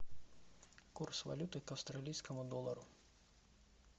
курс валюты к австралийскому доллару